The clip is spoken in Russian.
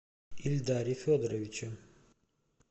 ильдаре федоровиче